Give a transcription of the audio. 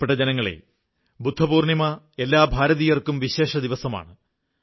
പ്രിയപ്പെട്ട ജനങ്ങളേ ബുദ്ധപൂർണ്ണിമ എല്ലാ ഭാരതീയർക്കും വിശേഷദിവസമാണ്